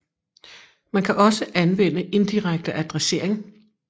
Man kan også anvende indirekte adressering